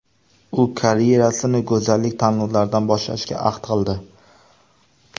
U karyerasini go‘zallik tanlovlaridan boshlashga ahd qildi.